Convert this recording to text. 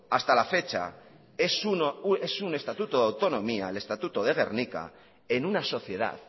hasta la fecha es un estatuto de autonomía el estatuto de gernika en una sociedad